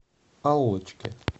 аллочке